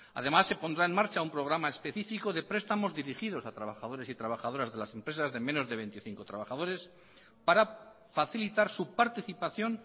además se pondrá en marcha un programa específico de prestamos dirigidos a trabajadores y trabajadoras de las empresas de menos de veinticinco trabajadores para facilitar su participación